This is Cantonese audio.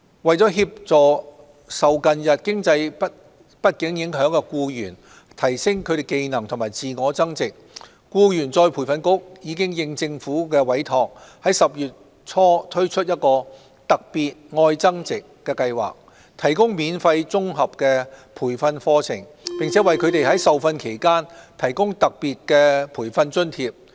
為協助受近日經濟不景影響的僱員提升技能及自我增值，僱員再培訓局應政府委託，已於10月初推出"特別•愛增值"計劃，提供免費綜合培訓課程，並為他們在受訓期間提供特別培訓津貼。